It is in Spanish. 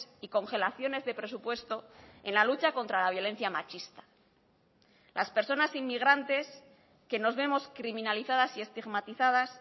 y congelaciones de presupuesto en la lucha contra la violencia machista las personas inmigrantes que nos vemos criminalizadas y estigmatizadas